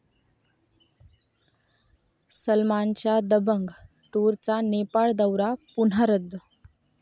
सलमानच्या 'दबंग टूर'चा नेपाळ दौरा पुन्हा रद्द